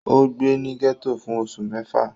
Ó gbé ní gẹ́tò fún oṣù mẹ́fà